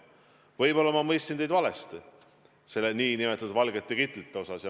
Võib-olla ma mõistsin teid valesti nn valgete kitlite asjas.